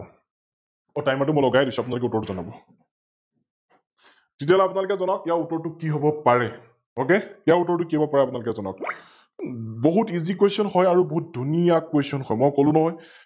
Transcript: মই Timer টো মই লগাই দিছো আপোনলোকে উত্তৰটো জনাব । তেতিয়াহলে আপোনালোকে যনাওক ইয়াৰ উত্তৰটো কি হব পাৰে । Ok ইয়াৰ উত্তৰটো কি হব পাৰে আপোনালোকে যনাওক । বহুত EassyQuestion হয় আৰু বহুত ধুনীয়া Question হয়, মই কলো নহয় ।